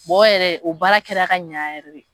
yɛrɛ o baara kɛra ka ɲɛ yɛrɛ de.